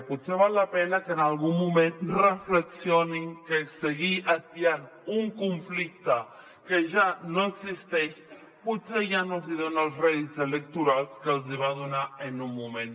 potser val la pena que en algun moment reflexionin que seguir atiant un conflicte que ja no existeix potser ja no els hi dona els rèdits electorals que els hi va donar en un moment